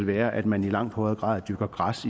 være at man i langt højere grad dyrker græs